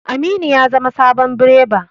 Aminu ya zama sabon bireba.